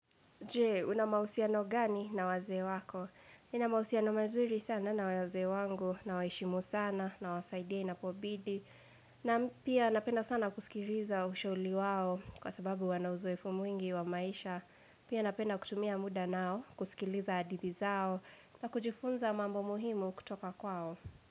Jee, una mausiano gani na wazeewako? Nina mausiano mazuri sana na wazee wangu, nawaheshimu sana, nawasaidiai inapobidi na pia napenda sana kusikiriza ushauli wao kwa sababu wana uzoefu mwingi wa maisha. Pia napenda kutumia muda nao, kusikiriza hadithi zao, na kujifunza mambo muhimu kutoka kwao.